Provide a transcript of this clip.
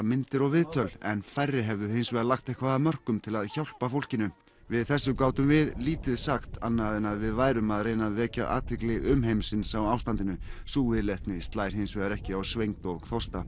myndir og viðtöl en færri hefðu hins vegar lagt eitthvað af mörkum til að hjálpa fólkinu við þessu gátum við lítið sagt annað en að við værum að reyna að vekja athygli umheimsins á ástandinu sú viðleitni slær hins vegar ekki á svengd og þorsta